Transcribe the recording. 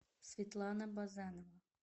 светлана базанова